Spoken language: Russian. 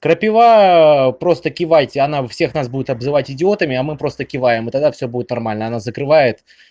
крапива просто кивайте она всех нас будет обзывать идиотами а мы просто киваем и тогда всё будет нормально она закрывает